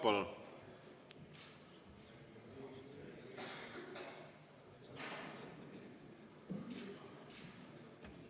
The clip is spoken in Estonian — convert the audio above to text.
Palun!